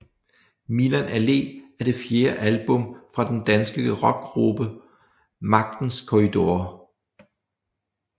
Milan Allé er det fjerde album fra den danske rockgruppe Magtens Korridorer